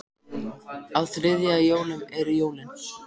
Á þriðja í jólum eru jólin.